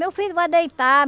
Meu filho vai deitar.